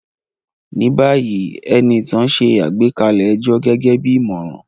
Ní báyìí, Enitan ṣe àgbékalẹ̀ ẹjọ́ gẹ́gẹ́ bí ìmọ̀ràn